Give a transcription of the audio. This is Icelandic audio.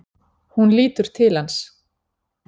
Hún lítur til hans.